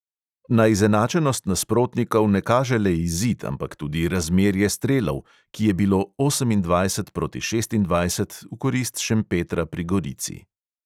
Na izenačenost nasprotnikov ne kaže le izid, ampak tudi razmerje strelov, ki je bilo osemindvajset proti šestindvajset v korist šempetra pri gorici.